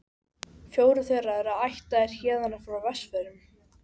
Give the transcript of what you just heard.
Fjórir þeirra eru ættaðir héðan frá Vestfjörðum.